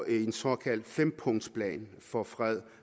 en såkaldt fempunktsplan for fred